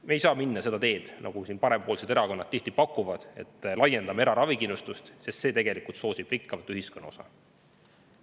Me ei saa minna seda teed, mida parempoolsed erakonnad tihti pakuvad – et laiendame eraravikindlustust –, sest see soosib tegelikult ühiskonna rikkamat osa.